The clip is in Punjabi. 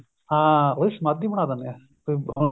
ਹਾਂ ਉਹਦੀ ਸ਼ਮਾਧੀ ਬਣਾ ਦਿੰਨੇ ਏ ਬੀ ਅਹ